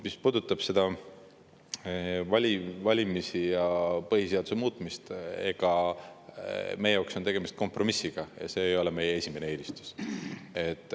Mis puudutab valimisi ja põhiseaduse muutmist, siis meie jaoks on tegemist kompromissiga, see ei ole meie esimene eelistus.